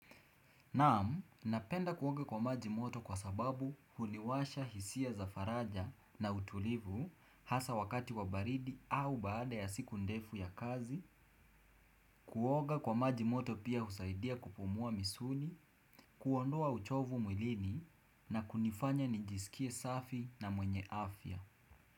Naam, napenda kuoga kwa maji moto kwa sababu huliwasha hisia za faraja na utulivu hasa wakati wa baridi au baada ya siku ndefu ya kazi, kuoge kwa maji moto pia husaidia kupumua misuli, kuondoa uchovu mwilini na kunifanya nijisikie safi na mwenye afya.